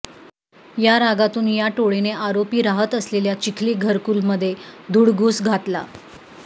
या रागातून या टोळीने आरोपी राहत असलेल्या चिखली घरकुलमध्ये धुडगूस घातला